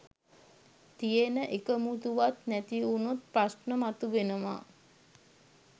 තියෙන එකමුතුවත් නැතිවුණොත් ප්‍රශ්න මතුවෙනවා.